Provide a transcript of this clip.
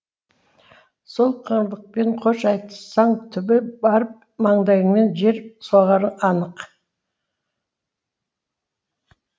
сол қыңырлықпен хош айтыссаң түбі барып маңдайыңмен жер соғарың анық